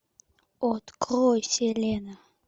открой селена